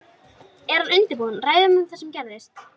Er hann að undirbúa ræðu um það sem gerðist?